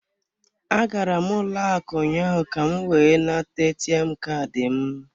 Agara m ụlọ akụ ụnyaahụ ka m wee nata ATM Kaadị m.